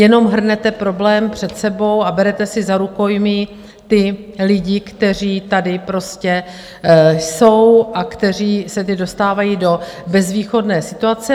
Jenom hrnete problém před sebou a berete si za rukojmí ty lidi, kteří tady prostě jsou a kteří se teď dostávají do bezvýchodné situace.